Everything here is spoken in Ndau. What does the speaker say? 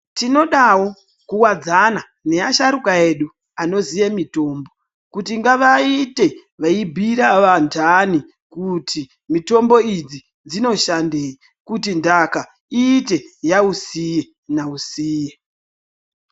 Tinodawo kuwadzana neasharuka edu anoziye mitombo kuti ngavaite veibhiira vandani kuti mitombo idzi dzinoshandei kuti ndaka iite yausiye nausiye .